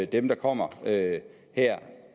dem der kommer her